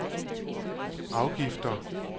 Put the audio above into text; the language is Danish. afgifter